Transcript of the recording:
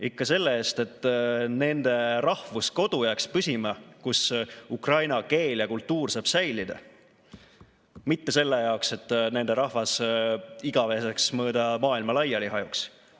Ikka selle eest, et püsima jääks nende rahvuskodu, kus ukraina keel ja kultuur saab säilida, mitte selle jaoks, et nende rahvas igaveseks mööda maailma laiali hajuks.